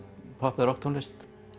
popp eða rokktónlist